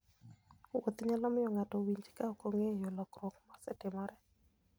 Wuoth nyalo miyo ng'ato owinj ka ok ong'eyo lokruok mosetimore.